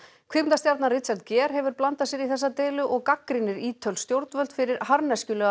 kvikmyndastjarnan Richard Gere hefur blandað sér í þessa deilu og gagnrýnir ítölsk stjórnvöld fyrir